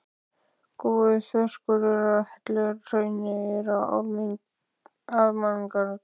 Góður þverskurður af helluhrauni er í Almannagjá.